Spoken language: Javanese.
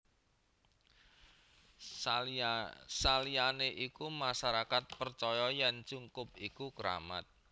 Saliyane iku masyarakat percaya yen cungkup iku kramat